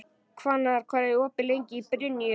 Hvannar, hvað er opið lengi í Brynju?